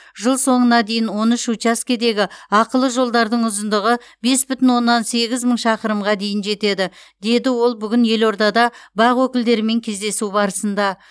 жыл соңына дейін он үш учаскедегі ақылы жолдардың ұзындығы бес бүтін оннан сегіз мың шақырымға дейін жетеді деді ол бүгін елордада бақ өкілдерімен кездесу барысында